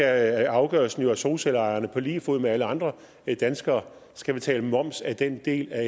er afgørelsen at solcelleejerne på lige fod med alle andre danskere skal betale moms af den del af